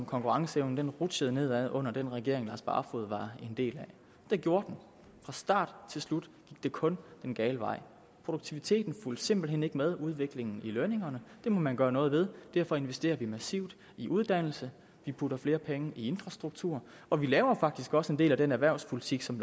konkurrenceevnen rutsjede nedad under den regering herre lars barfoed var en del af det gjorde den fra start til slut gik det kun den gale vej produktiviteten fulgte simpelt hen ikke med udviklingen i lønningerne det må man gøre noget ved og derfor investerer vi massivt i uddannelse vi putter flere penge i infrastruktur og vi laver faktisk også en del af den erhvervspolitik som